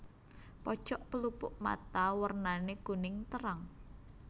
Pojok pelupuk mata wernané kuning terang